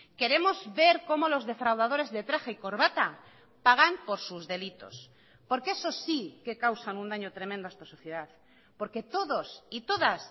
queremos ver como los defraudadores de traje y corbata pagan por sus delitos porque esos sí que causan un daño tremendo a esta sociedad porque todos y todas